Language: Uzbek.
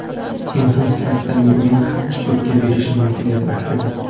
Inson sifatida men ham sudga berishim mumkin edi aslida.